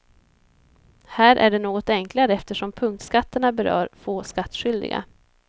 Här är det något enklare eftersom punktskatterna berör få skattskyldiga.